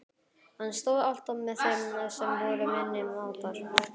Hann stóð alltaf með þeim sem voru minni máttar.